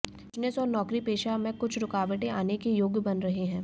business और नौकरीपेशा में कुछ रुकावटें आने के योग बन रहे हैं